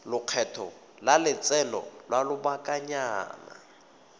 lekgetho la lotseno lwa lobakanyana